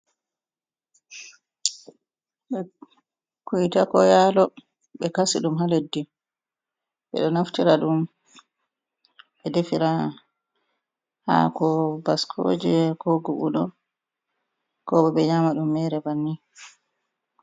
Be kuyta koo yaalo, ɓe kasi ɗum haa leddi, ɓe ɗo naftira ɗum ɓe defira haako bascooje koo gubuɗo koo ɓokkoo ɓe nyaama ɗum meere banni.